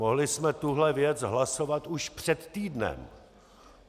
Mohli jsme tuto věc hlasovat už před týdnem.